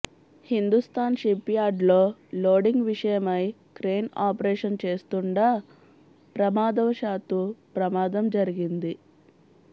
Hindustan ship యార్డులో loading విషయమై crane operation చేస్తుండా ప్రమాదవశాత్తు ప్రమాదం జరిగింది